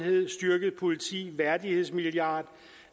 styrket politi værdighedsmilliard